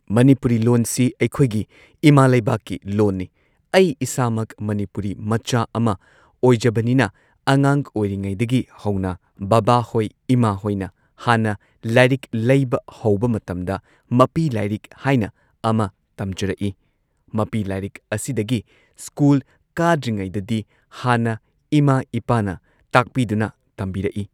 ꯃꯅꯤꯄꯨꯔꯤ ꯂꯣꯟꯁꯤ ꯑꯩꯈꯣꯏꯒꯤ ꯏꯃꯥ ꯂꯩꯕꯥꯛꯀꯤ ꯂꯣꯟꯅꯤ ꯑꯩ ꯏꯁꯥꯃꯛ ꯃꯅꯤꯄꯨꯔꯤ ꯃꯆꯥ ꯑꯃ ꯑꯣꯏꯖꯕꯅꯤꯅ ꯑꯉꯥꯡ ꯑꯣꯏꯔꯤꯉꯩꯗꯒꯤ ꯍꯧꯅ ꯕꯥꯕꯥꯍꯣꯏ ꯏꯃꯥꯍꯣꯏꯅ ꯍꯥꯟꯅ ꯂꯥꯏꯔꯤꯛ ꯂꯩꯕ ꯍꯧꯕ ꯃꯇꯝꯗ ꯃꯄꯤ ꯂꯥꯏꯔꯤꯛ ꯍꯥꯏꯅ ꯑꯃ ꯇꯝꯖꯔꯛꯏ ꯃꯄꯤ ꯂꯥꯏꯔꯤꯛ ꯑꯁꯤꯗꯒꯤ ꯁ꯭ꯀꯨꯜ ꯀꯥꯗ꯭ꯔꯤꯉꯩꯗꯗꯤ ꯍꯥꯟꯅ ꯏꯃꯥ ꯏꯄꯥꯅ ꯇꯥꯛꯄꯤꯗꯨꯅ ꯇꯝꯕꯤꯔꯛꯏ꯫